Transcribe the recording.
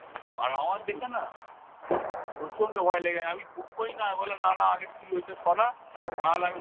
আর আমার দেখে না খুব প্রচন্ড ভয় লেগে গেছে আমি ঢুকবোই না, আমি বললাম না না আগে তুই ওইটা সরা নাহলে আমি